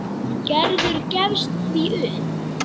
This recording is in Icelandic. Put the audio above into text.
Gerður gefst því upp.